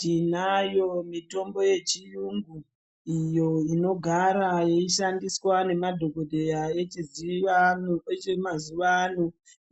Tinayo mitombo yechiyungu iyo inogara yeishandiswa nemadhokodheya emazuwa ano